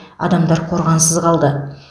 адамдар қорғансыз қалды